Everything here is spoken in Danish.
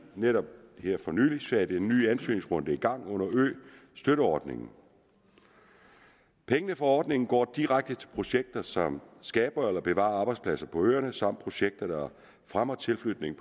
netop her for nylig sat en ny ansøgningsrunde i gang under østøtteordningen pengene fra ordningen går direkte til projekter som skaber eller bevarer arbejdspladser på øerne samt projekter der fremmer tilflytning